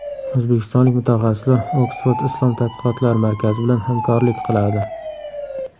O‘zbekistonlik mutaxassislar Oksford islom tadqiqotlari markazi bilan hamkorlik qiladi.